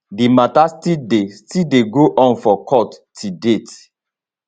di mata still dey still dey go on for court till date